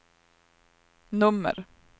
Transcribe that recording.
nummer